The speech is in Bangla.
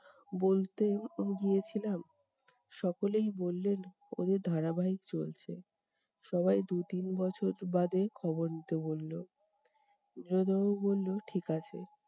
বলতে গিয়েছিলাম, সকলেই বললেন ওদের ধারাবাহিক চলছে, সবাই দু তিন বছর বাদে খবর নিতে বলল। নীরদ বাবু বলল ঠিক আছে।